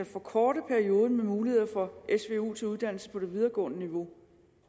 forkorte perioden med mulighed for su til uddannelse på det videregående niveau